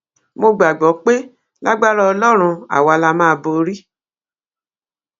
mo gbàgbọ pé lágbára ọlọrun àwa la máa borí